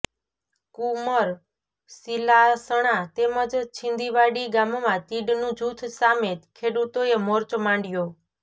કુમર સિલાસણા તેમજ છીંદીવાડી ગામમાં તીડનું જૂથ સામે ખેડૂતોએ મોરચો માંડ્યો